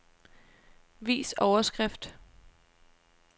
Vis overskrift.